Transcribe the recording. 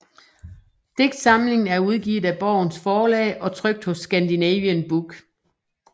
Digtsamlingen er udgivet af Borgens Forlag og trykt hos Scandinavien Book